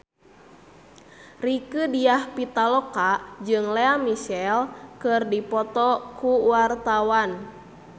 Rieke Diah Pitaloka jeung Lea Michele keur dipoto ku wartawan